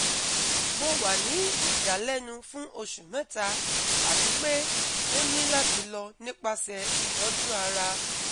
Mo wa ni idalẹnu fun osu mẹta ati pe o ni lati lọ nipasẹ itọju ara